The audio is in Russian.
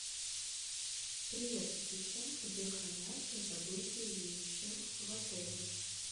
привет ассистент где хранятся забытые вещи в отеле